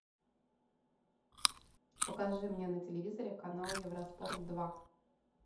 покажи мне на телевизоре канал евроспорт два